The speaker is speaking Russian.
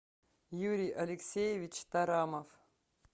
юрий алексеевич тарамов